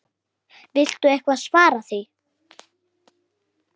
Viltu eitthvað svara því?